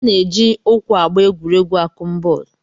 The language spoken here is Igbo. A na-eji ụkwụ agba egwuregwu akụmbọọlụ